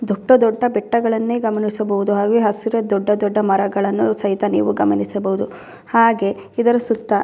ಈ ಕಡೆ ಒಂದು ನಾಲಕ್ಕು ಜನ ಕೂತಿರುವುದನ್ನು ನಿಂತಿರುವುದನ್ನು ಗಮನಿಸಬಹುದು ಸುತ್ತಲು --